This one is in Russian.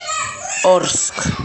орск